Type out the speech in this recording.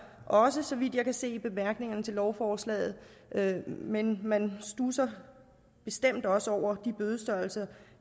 også så vidt jeg kan se i bemærkningerne til lovforslaget men man studser bestemt også over de bødestørrelser